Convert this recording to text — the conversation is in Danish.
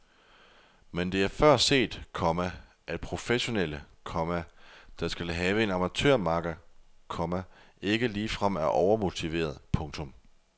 Men det er før set, komma at professionelle, komma der skal have en amatørmakker, komma ikke ligefrem er overmotiverede. punktum